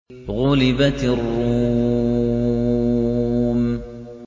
غُلِبَتِ الرُّومُ